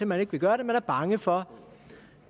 man ikke vil gøre det man er bange for